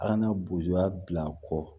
A kana bozoya bila a kɔ